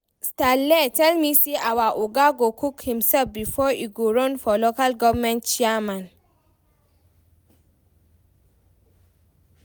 Stanley tell me say our oga go cook himself before e go run for local government chairman